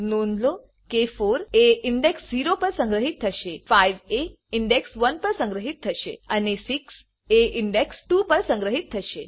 નોંધ લો કે 4 એ ઇન્ડેક્સ 0 પર સંગ્રહિત થશે5 એ ઇન્ડેક્સ 1 પર સંગ્રહિત થશે અને 6 એ ઇન્ડેક્સ 2 પર સંગ્રહિત થશે